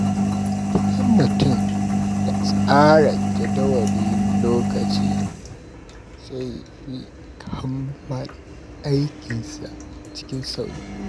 Idan mutum ya tsara jadawalin lokaci, zai fi kammala aikinsa cikin sauri.